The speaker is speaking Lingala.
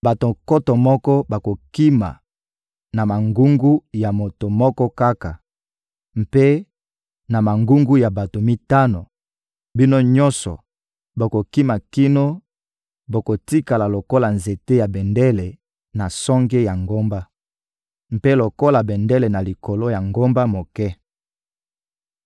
Bato nkoto moko bakokima na mangungu ya moto moko kaka; mpe na mangungu ya bato mitano, bino nyonso bokokima kino bokotikala lokola nzete ya bendele na songe ya ngomba, mpe lokola bendele na likolo ya ngomba moke.»